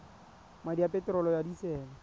madi a peterolo ya disele